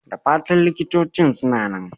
Da fatan likitocin suna nan?